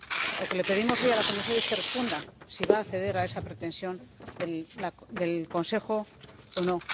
Lo que le pedimos hoy a la señora Comisaria es que responda si va a ceder a esa pretensión del Consejo o no.